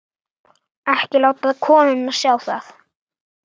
Ekki láta konuna sjá það.